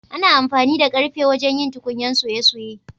Ana amfani da karfe wajen yin tukunyan soye-soye.